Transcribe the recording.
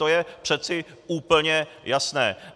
To je přece úplně jasné.